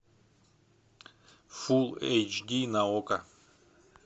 фул эйч ди на окко